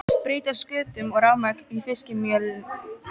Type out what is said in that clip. Breyta sköttum og rafmagn í fiskimjölið